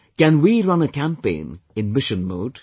Can we run a campaign in mission mode